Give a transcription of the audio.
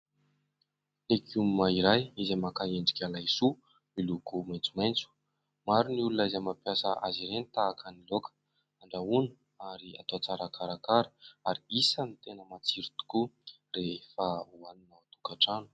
Legioma iray izay maka endrika laisoa, miloko maitsomaitso, maro ny olona izay mampiasa azy ireny tahaka ny laoka, andrahoana ary atao tsara karakara ary isan'ny tena matsiro tokoa rehefa hoanina ao an-tokatrano.